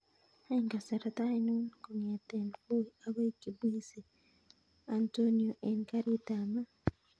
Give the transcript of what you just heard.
Any kasarta ainon kongeten voi akoi kibwezi antonio en garit ab maat